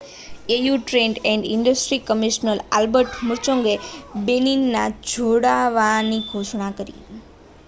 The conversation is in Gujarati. au trade and industry commissioner Albert મુચૉંગાએ બેનિનના જોડાવાની ઘોષણા કરી